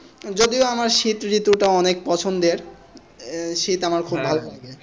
যদিও আমার শীত ঋতু টা অনেক পছন্দের শীত আমার খুব ভালো লাগে।